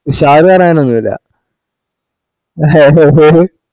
ഉഷാര് വരാൻ ഒന്നുല്ല